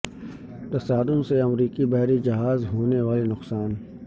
تصادم سے امریکی بحری جہاز ہو نے والا نقصان